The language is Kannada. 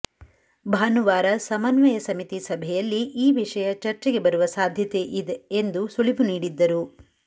ಭಾನುವಾರ ಸಮನ್ವಯ ಸಮಿತಿ ಸಭೆಯಲ್ಲಿ ಈ ವಿಷಯ ಚರ್ಚೆಗೆ ಬರುವ ಸಾಧ್ಯತೆಯಿದೆ ಎಂದು ಸುಳಿವು ನೀಡಿದ್ದರು